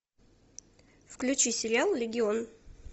включи сериал легион